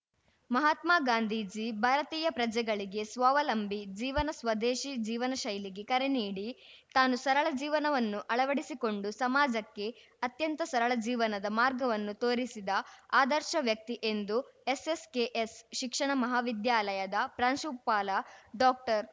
ಮಹಾತ್ಮ ಗಾಂಧೀಜಿ ಭಾರತೀಯ ಪ್ರಜೆಗಳಿಗೆ ಸ್ವಾವಲಂಬಿ ಜೀವನಸ್ವದೇಶಿ ಜೀವನ ಶೈಲಿಗೆ ಕರೆ ನೀಡಿ ತಾನು ಸರಳ ಜೀವನವನ್ನು ಅಳವಡಿಸಿಕೊಂಡು ಸಮಾಜಕ್ಕೆ ಅತ್ಯಂತ ಸರಳ ಜೀವನದ ಮಾರ್ಗವನ್ನು ತೋರಿಸಿದ ಆದರ್ಶ ವ್ಯಕ್ತಿ ಎಂದು ಎಸ್‌ಎಸ್‌ಕೆಎಸ್‌ ಶಿಕ್ಷಣ ಮಹಾವಿದ್ಯಾಲಯದ ಪ್ರಾಂಶುಪಾಲ ಡಾಕ್ಟರ್